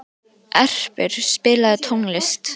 Erpur, spilaðu tónlist.